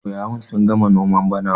ƙauyawa sun gama noman bana